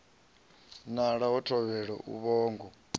nala ha thovhele a vhongo